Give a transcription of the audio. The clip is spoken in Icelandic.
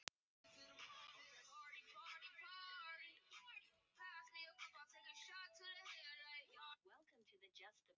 Hann pissaði þá ekki á meðan í skó móður hans.